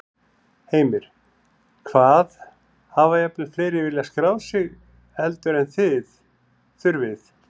Heimir: Hvað, hafa jafnvel fleiri viljað skráð sig heldur en, en þið þurfið?